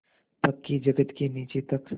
पक्की जगत के नीचे तक